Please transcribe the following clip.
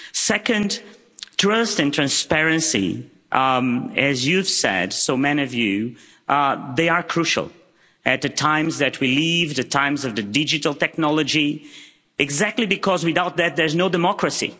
Secondly, trust and transparency, as you've said, so many of you, are crucial in the times that we live in, the times of the digital technology, exactly because without that there is no democracy.